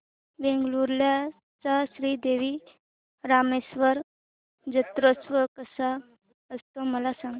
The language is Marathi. वेंगुर्ल्या चा श्री देव रामेश्वर जत्रौत्सव कसा असतो मला सांग